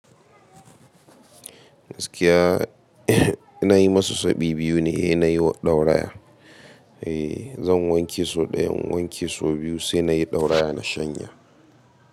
Gaskiya ina yi musu sau bi-biyu ne, eh nayi wa ɗauraya. Eh zan wanke so ɗayan wanke so biyu sai nayi ɗauraya na shanye.